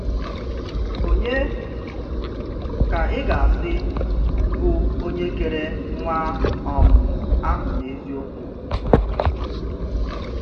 Ònye, ka ị ga-asị, bụ onye kere nwa um ahụ n’eziokwu?